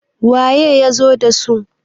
waye ya zo da su?